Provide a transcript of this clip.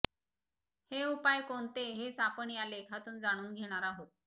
हे उपाय कोणते हेच आपण या लेखातून जाणून घेणार आहोत